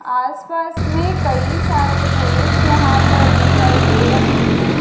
आस पास में कई सारे पुरुष यहां पर दिखाई दे रहे हैं।